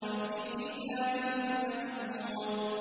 فِي كِتَابٍ مَّكْنُونٍ